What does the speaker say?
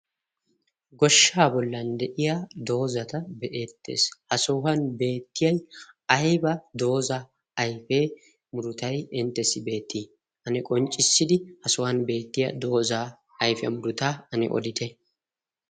Goshshaa bollan de'iya doozata be'eettees. Ha sohuwan beettiyay ayba dooza ayfee murutay inttessi beettii? Ane qonccissidi ha sohuwan beettiya doozaa ayfiya murutaa ane odite?